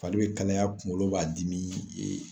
Fari be kalaya kunkolo b'a dimi